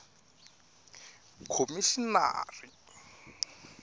khomixinari